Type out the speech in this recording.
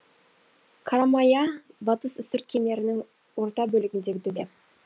қарамая батыс үстірт кемерінің орта бөлігіндегі төбе